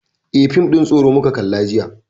Eh, fim ɗin tsoro muka kalla jiya.